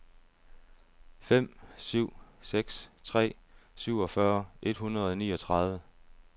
fem syv seks tre syvogfyrre et hundrede og niogtredive